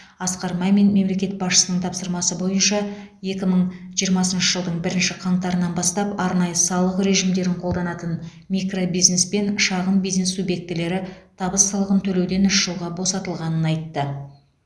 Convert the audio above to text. асқар мамин мемлекет басшысының тапсырмасы бойынша екі мың жиырмасыншы жылдың бірінші қаңтарынан бастап арнайы салық режимдерін қолданатын микробизнес пен шағын бизнес субъектілері табыс салығын төлеуден үш жылға босатылғанын айтты